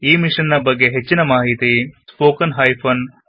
ಈ ಮಿಶನ್ ನ ಬಗ್ಗೆ ಹೆಚ್ಚಿನ ಮಾಹಿತಿಗೆ ಇಲ್ಲಿ ಹೋಗಬಹುದು httpspoken tutorialorgNMEICT Intro